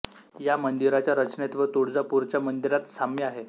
या मंदिराच्या रचनेत व तुळजापूरच्या मंदिरात साम्य आहे